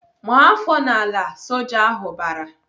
"Maa afọ n'ala!" Soja ahụ bara.